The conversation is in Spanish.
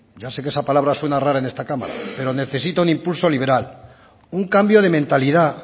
ya sé que esa palabra suena rara en esta cámara pero necesita un impulso liberal un cambio de mentalidad